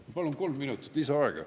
Ma palun kolm minutit lisaaega.